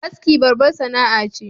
Aski babbar sana'a ce